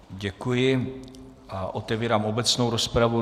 Děkuji a otevírám obecnou rozpravu.